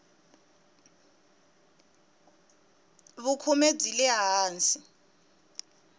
vukhume byi le hansi